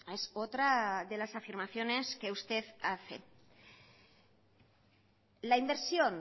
es otra de las afirmaciones que usted hace la inversión